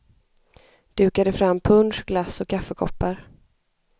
Dukade fram punsch, glass och kaffekoppar.